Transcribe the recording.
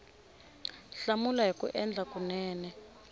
hlamula hi ku endla kunene